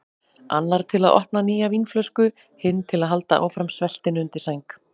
Annar til að opna nýja vínflösku, hinn til að halda áfram sveltinu undir sæng.